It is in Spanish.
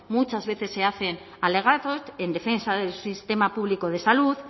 muchas veces es hacen alegatos en defensa del sistema público de salud